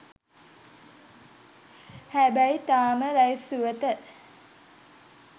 හැබැයි තාම ලැයිස්තුවට